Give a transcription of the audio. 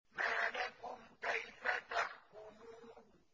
مَا لَكُمْ كَيْفَ تَحْكُمُونَ